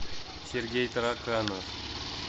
сергей тараканов